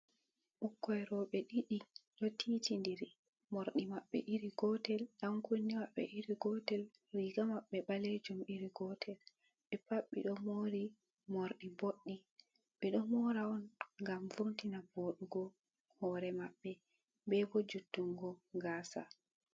Ɓukkon roɓe ɗiɗi ɗo titi'ndiri. Morɗi maɓɓe iri gotel, ɗankunne maɓɓe iri gotel, riga maɓɓe ɓalejum iri gotel. Ɓe pat ɓe ɗo mori morɗi boɗɗi. Ɓe ɗo mora on ngam vo'itina vodugo hore maɓɓe be bo juttungo gasa.